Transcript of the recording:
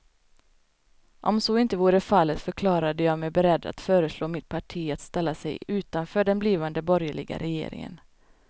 Om så inte vore fallet förklarade jag mig beredd att föreslå mitt parti att ställa sig utanför den blivande borgerliga regeringen.